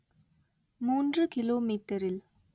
மூன்று கிலோமீட்டரில்